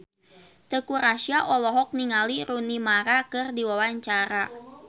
Teuku Rassya olohok ningali Rooney Mara keur diwawancara